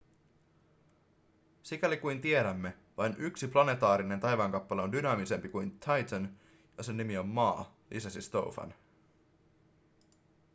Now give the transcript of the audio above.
sikäli kuin tiedämme vain yksi planetaarinen taivaankappale on dynaamisempi kuin titan ja sen nimi on maa lisäsi stofan